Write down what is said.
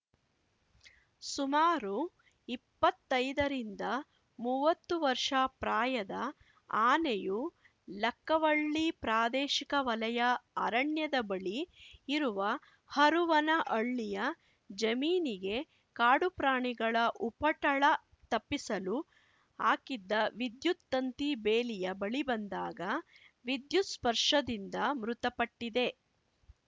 ಸುಮಾರು ಇಪ್ಪತ್ತೈದರಿಂದ ಮುವ್ವತ್ತು ವರ್ಷ ಪ್ರಾಯದ ಆನೆಯು ಲಕ್ಕವಳ್ಳಿ ಪ್ರಾದೇಶಿಕ ವಲಯ ಅರಣ್ಯದ ಬಳಿ ಇರುವ ಹರುವನಹಳ್ಳಿಯ ಜಮೀನಿಗೆ ಕಾಡು ಪ್ರಾಣಿಗಳ ಉಪಟಳ ತಪ್ಪಿಸಲು ಹಾಕಿದ್ದ ವಿದ್ಯುತ್‌ ತಂತಿ ಬೇಲಿಯ ಬಳಿ ಬಂದಾಗ ವಿದ್ಯುತ್‌ ಸ್ಪರ್ಶದಿಂದ ಮೃತಪಟ್ಟಿದೆ